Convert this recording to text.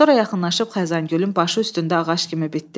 Sonra yaxınlaşıb Xəzəngülün başı üstündə ağac kimi bitdi.